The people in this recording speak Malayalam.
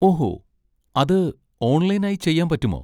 ഓഹോ, അത് ഓൺലൈൻ ആയി ചെയ്യാൻ പറ്റുമോ?